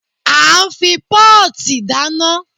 A ń fi pọ́ọ̀tì dáná.